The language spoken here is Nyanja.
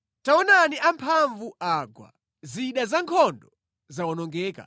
“Taonani amphamvu agwa! Zida zankhondo zawonongeka!”